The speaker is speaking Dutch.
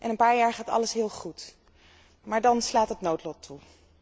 Een paar jaar gaat alles heel goed, maar dan slaat het noodlot toe.